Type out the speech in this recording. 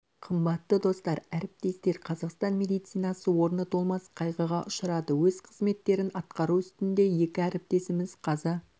қымбатты достар әріптестер қазақстан медицинасы орны толмас қайғыға ұшырады өз қызметтерін атқару үстінде екі әріптесіміз қаза